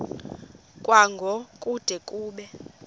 kwango kude kube